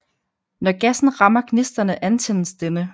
Når gassen rammer gnisterne antændes denne